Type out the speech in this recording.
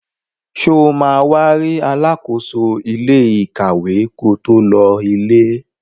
Sọ ma wá rí alákóso ilé ìkàwé ko tó lọ ilé?